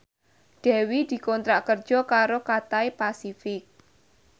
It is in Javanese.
Dewi dikontrak kerja karo Cathay Pacific